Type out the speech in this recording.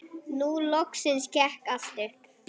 Nú loksins gekk allt upp.